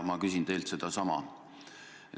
Ma küsin teilt sedasama.